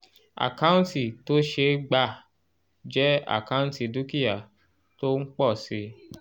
àkáǹtì tó ṣe é gbà jẹ́ àkáǹtì dúkìá tó ń pọ̀ si